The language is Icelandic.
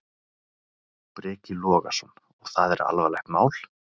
Breki Logason: Og það er alvarlegt mál?